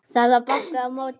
Það var bankað á móti.